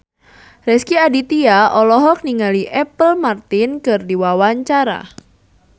Rezky Aditya olohok ningali Apple Martin keur diwawancara